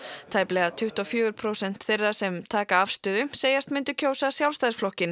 tæplega tuttugu og fjögur prósent þeirra sem taka afstöðu segjast myndu kjósa Sjálfstæðisflokkinn